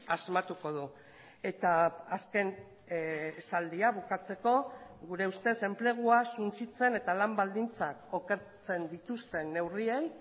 asmatuko du eta azken esaldia bukatzeko gure ustez enplegua suntsitzen eta lan baldintzak okertzen dituzten neurriei